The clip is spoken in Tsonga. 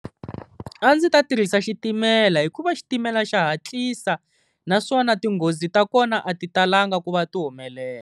A ndzi ta tirhisa xitimela hikuva xitimela xa hatlisa naswona tinghozi ta kona a ti talanga ku va ti humelela.